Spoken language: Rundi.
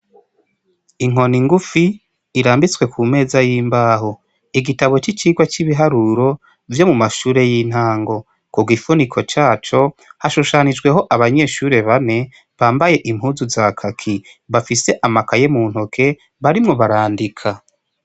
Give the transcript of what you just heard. Inkoni ngufi irambitswe kumeza y'imbaho, igitabo c'icigwa c'ibiharuro vyo mumashure y'intango, kugifuniko caco hashushanijweho abanyeshure bane bambaye impuzu zakaki bafise amakaye muntoke barimwo barandika.